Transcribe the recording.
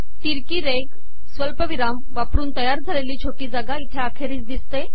ितरकी रेघ सवलपिवराम वापरन तयार झालेली छोटी जागा इथे अखेरीस िदसते